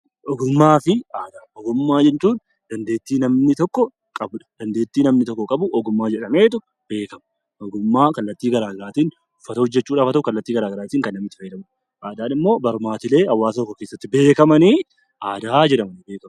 Ogummaa jechuun dandeettii namni tokko qabu jechuudha. Aadaan immoo barmaatilee uummata yookiin hawaasa tokko keessatti beekamu jechuudha.